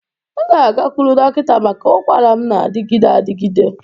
M ga-agakwuru dọkịta maka ụkwara m na-adịgide adịgide.